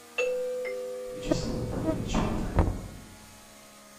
вячеславом валерьевичем атаевым